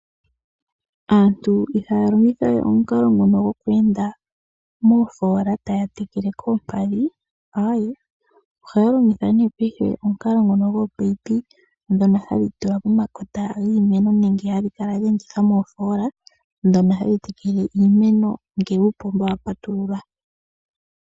Aantu ihaya longitha we omukalo ngono gokweenda moofola taya tekele koompadhi, aae ohaya longitha nee paife omukalo ngono gopaipi dhono hadhi tula pomakota giimeno nenge hadhi kala dheendithwa moofola dhono hadhi tekele iimeno ngele uupomba wa patululwa.